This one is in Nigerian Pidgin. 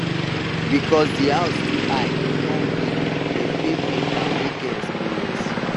because di house too high come big dem pay painter wey get experience